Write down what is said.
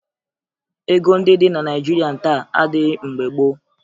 Ego ndị dị na Naịjirịa taa adịghị mgbe gboo